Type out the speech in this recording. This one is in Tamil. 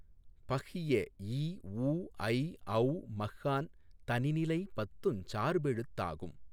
பஃகிய இஉ ஐஒள மஃகான் தனிநிலை பத்துஞ் சார்பெழுத்தாகும்